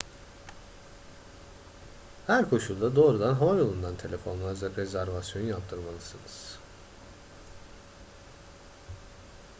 her koşulda doğrudan havayolundan telefonla rezervasyon yaptırmalısınız